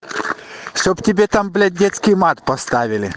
чтоб тебе там блядь детский мат поставили